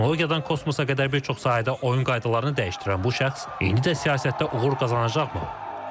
Texnologiyadan kosmosa qədər bir çox sahədə oyun qaydalarını dəyişdirən bu şəxs indi də siyasətdə uğur qazanacaqmı?